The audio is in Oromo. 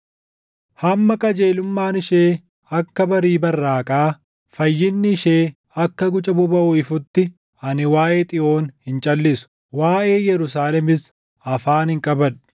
Hamma qajeelummaan ishee akka barii barraaqaa, fayyinni ishee akka guca bobaʼuu ifutti, ani waaʼee Xiyoon hin calʼisu; waaʼee Yerusaalemis afaan hin qabadhu.